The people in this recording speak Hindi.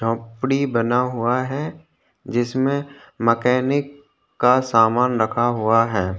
झोपड़ी बना हुआ है जिसमे मैकेनिक का सामान रखा हुआ है।